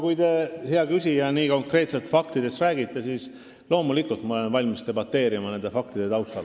Kui te, hea küsija, nii konkreetselt faktidest räägite, siis loomulikult ma olen valmis debateerima nende faktide taustal.